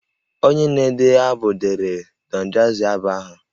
Onye na-ede abụ deere Don jazzy abụ ahụ